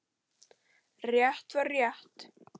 Rétt var rétt.